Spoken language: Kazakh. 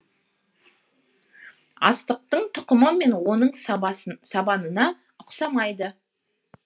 астықтың тұқымы мен оның сабанына ұқсамайды